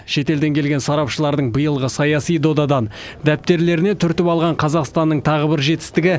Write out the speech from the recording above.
шетелден келген сарапшылардың биылғы саяси додадан дәптерлеріне түртіп алған қазақстанның тағы бір жетістігі